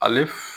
Ale